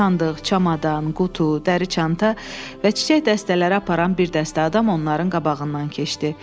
Sandıq, çamadan, qutu, dəri çanta və çiçək dəstələri aparan bir dəstə adam onların qabağından keçdi.